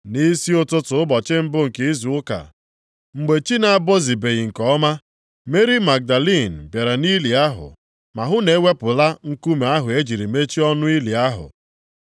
Nʼisi ụtụtụ ụbọchị mbụ nke izu ụka, mgbe chi na-abọzibeghị nke ọma, Meri Magdalin bịara nʼili ahụ, ma hụ na e wepụla nkume ahụ e jiri mechie ọnụ ili ahụ.